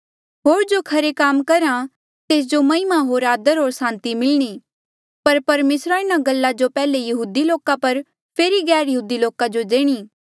होर जो खरे काम करहा तेस जो महिमा होर आदरा होर सांति मिलणी पर परमेसरा इन्हा गल्ला जो पैहले यहूदी लोका जो फेरी गैरयहूदी लोका जो देणी